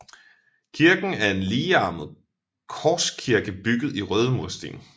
Kirken er en ligearmet korskirke bygget i røde mursten